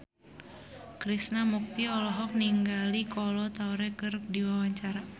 Krishna Mukti olohok ningali Kolo Taure keur diwawancara